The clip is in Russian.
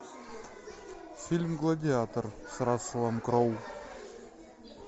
фильм гладиатор с расселом кроу